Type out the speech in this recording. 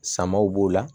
Samaw b'o la